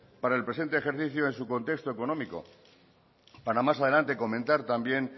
para el presente ejercicio en su contexto económico para más adelante comentar también